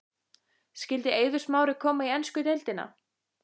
Skyldi Eiður Smári koma í ensku deildina?